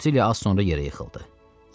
Rutilli az sonra yerə yıxıldı.